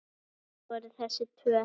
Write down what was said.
Hver voru þessi tvö?